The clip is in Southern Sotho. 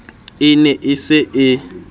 e ne e se e